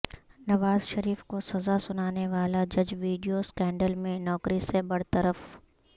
نوازشریف کو سزا سنانے والا جج ویڈیو سکینڈل میں نوکری سے برطرف